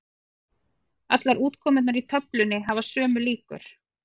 Allar útkomurnar í töflunni hafa sömu líkur.